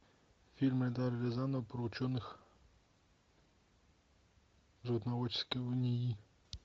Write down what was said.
фильм эльдара рязанова про ученых животноводческого нии